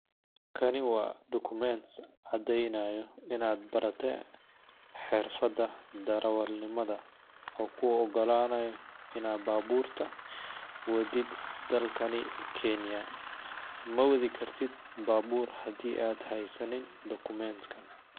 Kani waa documents cadeynaayo in aad barate xirfada darawal nimada oo kuu ogolanaayo inaad baaburta wadid dalkani kenya , ma wadi kartid baabuur hadii aad haysanin documents kan .